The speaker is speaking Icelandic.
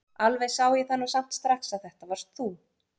Alveg sá ég það nú samt strax að þetta varst þú!